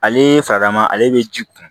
Ale farama ale bɛ ji kun